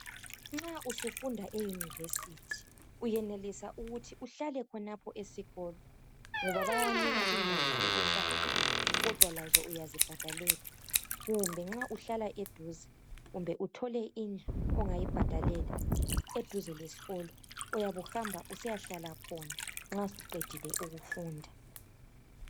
Nxa usufunda euniversity uyenelisa ukuthi uhlale khonapho esikolo ngoba bayanika indawo zokuhlala kodwa lazo uyazibhadalela kumbe nxa uhlala eduze kumbe uthole indlu ongayibhadalela eduze lesikolo uyabe uhamba usiya hlala khona nxa usuqedile ukufunda.